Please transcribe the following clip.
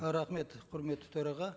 рахмет құрметті төраға